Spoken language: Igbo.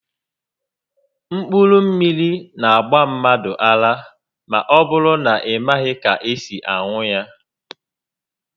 Mkpụrụ mmiri n'agba mmadụ ara ma ọbụrụ na ị i maghị ka esi aṅụ ya